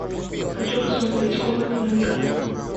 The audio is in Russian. хочу посмотреть комната наверху